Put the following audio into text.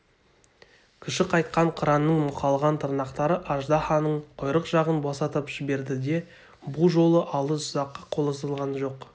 күші қайтқан қыранның мұқалған тырнақтары аждаһаның құйрық жағын босатып жіберді бұ жолы алыс ұзаққа созылған жоқ